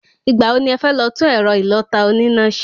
Ìgbà wo ni ẹfẹ́ lọ tún ẹ̀rọ ìlọ̀ta oníná ṣe?